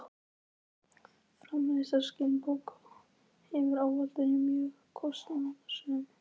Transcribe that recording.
Framleiðsla skinnbóka hefur ávallt verið mjög kostnaðarsöm.